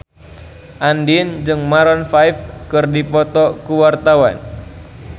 Andien jeung Maroon 5 keur dipoto ku wartawan